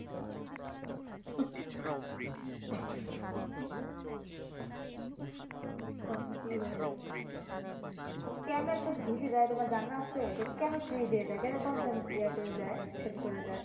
কত কি হয়ে গেছে কেন এসব ফ্রি দেয় তোমার জানা আছে যে কেনো ফ্রি দিয়ে দেয় কেনো কম দামে ইয়া করে দেয় সেল করে দেয়